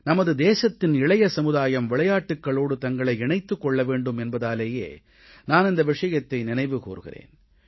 நமது தேசத்தின் இளைய சமுதாயம் விளையாட்டுகளோடு தங்களை இணைத்துக் கொள்ள வேண்டும் என்பதாலேயே நான் இந்த விஷயத்தை நினைவு கூர்கிறேன்